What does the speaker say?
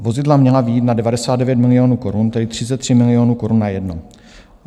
Vozidla měla vyjít na 99 miliónů korun, tedy 33 miliónů korun na jedno.